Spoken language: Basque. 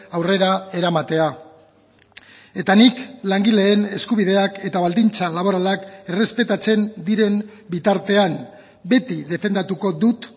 aurrera eramatea eta nik langileen eskubideak eta baldintza laboralak errespetatzen diren bitartean beti defendatuko dut